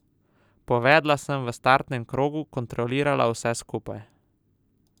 Povedla sem v startnem krogu, kontrolirala vse skupaj.